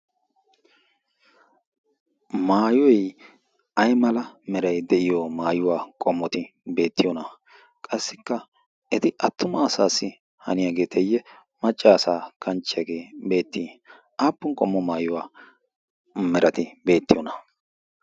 maayoi ai mala merai de'iyo maayuwaa qommoti beettiyoona qassikka eti attuma asaassi haniyaageeteyye maccaasaa kanchchiyaagee beettii aappun qommo maayuwaa merati beettiyoona